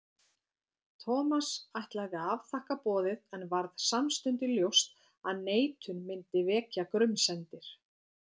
Thomas ætlaði að afþakka boðið en varð samstundis ljóst að neitun myndi vekja grunsemdir.